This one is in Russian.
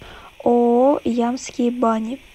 ооо ямские бани